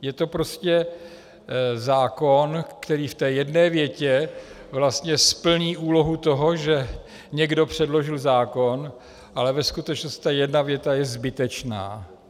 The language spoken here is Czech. Je to prostě zákon, který v té jedné větě vlastně splní úlohu toho, že někdo předložil zákon, ale ve skutečnosti ta jedna věta je zbytečná.